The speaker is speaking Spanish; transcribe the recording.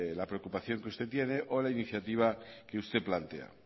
la preocupación que usted tiene o la iniciativa que usted plantea